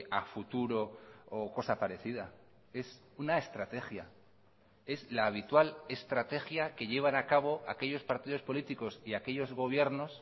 a futuro o cosa parecida es una estrategia es la habitual estrategia que llevan a cabo aquellos partidos políticos y aquellos gobiernos